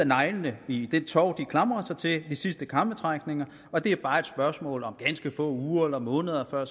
neglene i det tov de klamrer sig til de sidste krampetrækninger og at det bare er et spørgsmål om ganske få uger eller måneder før